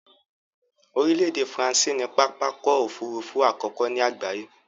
Orílẹ̀ èdè France ni pápákọ̀ òfurufú àkọ́kọ́ ni àgbáyé